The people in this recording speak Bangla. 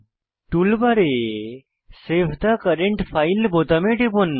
টুলবারে সেভ থে কারেন্ট ফাইল বোতামে টিপুন